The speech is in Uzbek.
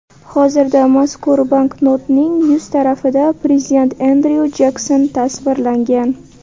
Hozirda mazkur banknotning yuz tarafida prezident Endryu Jekson tasvirlangan.